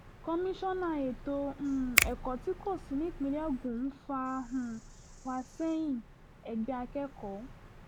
komisanna ètò um ẹ̀kọ́ tí kò sì nípìnlẹ̀ ogun ń fà um wá sẹ́yìn-ẹgbẹ́ akẹ́kọ̀ọ́